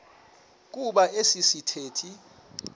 kuba esi sithethe